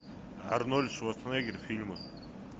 арнольд шварценеггер фильмы